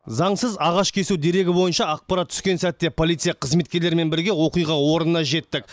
заңсыз ағаш кесу дерегі бойынша ақпарат түскен сәтте полиция қызметкерлерімен бірге оқиға орнына жеттік